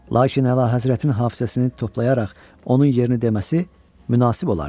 Lakin əlahəzrətin hafizəsini toplayaraq onun yerini deməsi münasib olardı.